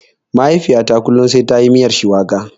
Mahaifiyata kullum sai tayi miyar shuwaka.